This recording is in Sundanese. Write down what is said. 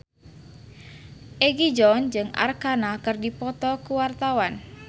Egi John jeung Arkarna keur dipoto ku wartawan